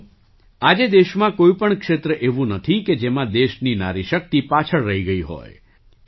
સાથીઓ આજે દેશમાં કોઈ પણ ક્ષેત્ર એવું નથી કે જેમાં દેશની નારી શક્તિ પાછળ રહી ગઈ હોય